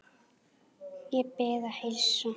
Ég bið að heilsa